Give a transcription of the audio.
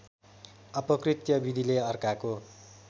अपकृत्य विधिले अर्काको